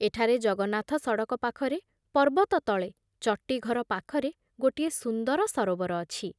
ଏଠାରେ ଜଗନ୍ନାଥ ସଡ଼କ ପାଖରେ ପର୍ବତ ତଳେ ଚଟିଘର ପାଖରେ ଗୋଟିଏ ସୁନ୍ଦର ସରୋବର ଅଛି ।